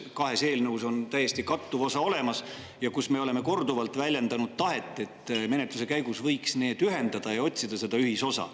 Kahes eelnõus on kattuv osa täiesti olemas ja me oleme korduvalt väljendanud tahet, et menetluse käigus võiks need ühendada ja otsida ühisosa.